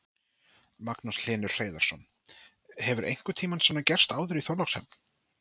Magnús Hlynur Hreiðarsson: Hefur einhvern tímann svona gert áður í Þorlákshöfn?